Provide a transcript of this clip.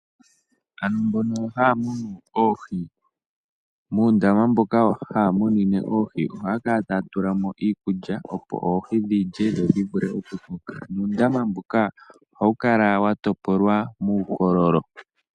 Aantu mbono haya munu oohi, muundama mboka haya munine oohi ohaya kala taya tulamo iikulya, opo oohi dhilye, dho dhi vule oku koka. Nuundama mbuka ohawu kala wa topolwa muukololo.